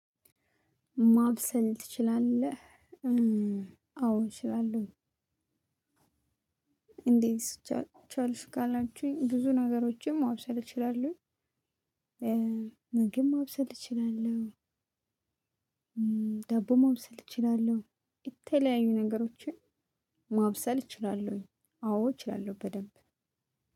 ማብሰል ትችላለህ አዎ እችላለሁ። እንዴት? ቻልሽ ካላችሁኝ ብዙ ነገሮችን ማብሰል እችላለሁኝ። ምግብ ማብሰል እችላለሁ። ዳቦ ማብሰል እችላለሁ የተለያዩ ነገሮችን። ማብሰል እችላለሁኝ አዎ እችላለሁ በደንብ።